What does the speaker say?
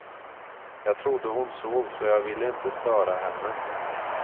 Jag trodde hon sov så jag ville inte störa henne.